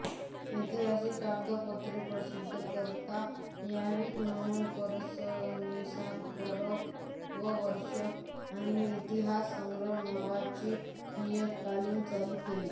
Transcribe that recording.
ऐतिहासिक कागदपत्रे प्रसिद्ध करता यावीत म्हणून पारसनिसांनी भारतवर्ष आणि इतिहास संग्रह नावाची नियतकालिके चालू केली